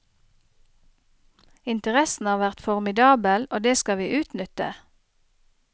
Interessen har vært formidabel, og det skal vi utnytte.